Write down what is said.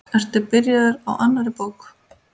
Ertu byrjaður á annarri bók?